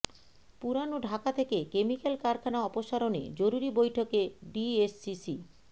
পুরান ঢাকা থেকে কেমিক্যাল কারখানা অপসারণে জরুরি বৈঠকে ডিএসসিসি